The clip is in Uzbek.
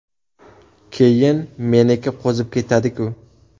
Keyin meniki qo‘zib ketadi-ku.